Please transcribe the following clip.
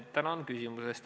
Tänan küsimuse eest!